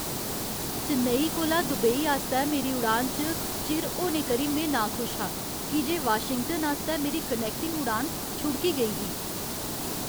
चेन्नई कोला दुबई आस्तै मेरी उड़ान च चिर होने करी में नाखुश हा की जे वाशिंगटन आस्तै मेरी कनैक्टिंग उड़ान छुड़की गेई ही।